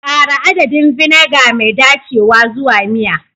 Ƙara adadin vinegar mai dacewa zuwa miya.